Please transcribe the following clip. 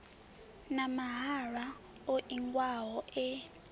na mahalwa o ingiwaho e